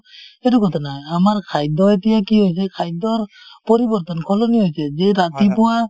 সেইটো কথা নহয় , আমাৰ খাদ্য এতিয়া কি হৈছে , খাদ্যৰ পৰিবৰ্তন সলনি হৈছে যে ৰাতিপুৱা ,